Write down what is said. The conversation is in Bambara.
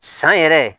San yɛrɛ